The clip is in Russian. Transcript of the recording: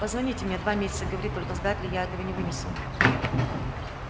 позвоните мне два месяца говорить только с дадли я этого не вынесу